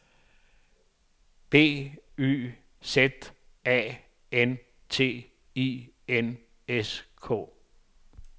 B Y Z A N T I N S K